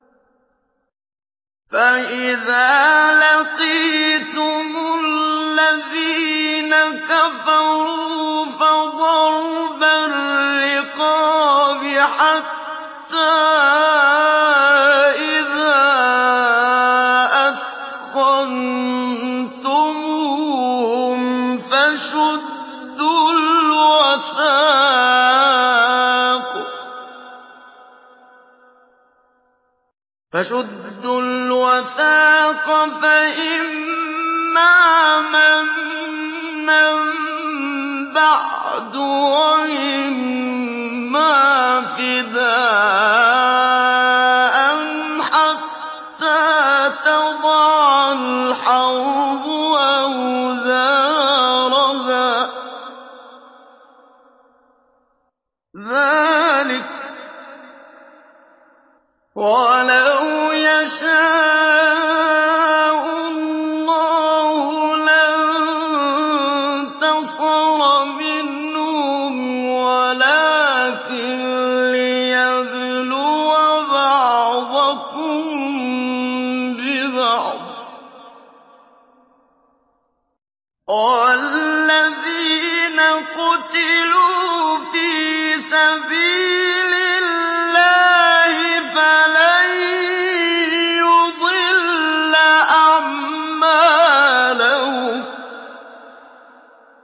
فَإِذَا لَقِيتُمُ الَّذِينَ كَفَرُوا فَضَرْبَ الرِّقَابِ حَتَّىٰ إِذَا أَثْخَنتُمُوهُمْ فَشُدُّوا الْوَثَاقَ فَإِمَّا مَنًّا بَعْدُ وَإِمَّا فِدَاءً حَتَّىٰ تَضَعَ الْحَرْبُ أَوْزَارَهَا ۚ ذَٰلِكَ وَلَوْ يَشَاءُ اللَّهُ لَانتَصَرَ مِنْهُمْ وَلَٰكِن لِّيَبْلُوَ بَعْضَكُم بِبَعْضٍ ۗ وَالَّذِينَ قُتِلُوا فِي سَبِيلِ اللَّهِ فَلَن يُضِلَّ أَعْمَالَهُمْ